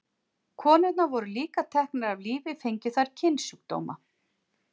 Konurnar voru líka teknar af lífi fengju þær kynsjúkdóma.